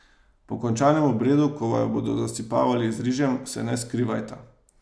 Po končanem obredu, ko vaju bodo zasipavali z rižem, se ne skrivajta.